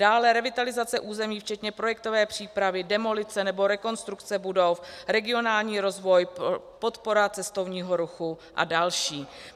dále revitalizace území včetně projektové přípravy, demolice nebo rekonstrukce budov, regionální rozvoj, podpora cestovního ruchu a další.